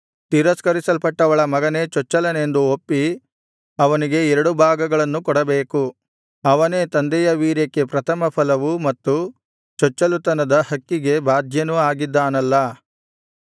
ತಿರಸ್ಕರಿಸಲ್ಪಟ್ಟವಳ ಮಗನೇ ಚೊಚ್ಚಲನೆಂದು ಒಪ್ಪಿ ಅವನಿಗೆ ಎರಡು ಭಾಗಗಳನ್ನು ಕೊಡಬೇಕು ಅವನೇ ತಂದೆಯ ವೀರ್ಯಕ್ಕೆ ಪ್ರಥಮಫಲವೂ ಮತ್ತು ಚೊಚ್ಚಲುತನದ ಹಕ್ಕಿಗೆ ಬಾಧ್ಯನೂ ಆಗಿದ್ದಾನಲ್ಲಾ